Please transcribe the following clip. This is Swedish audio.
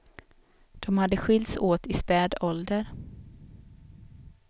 De hade skilts åt i späd ålder.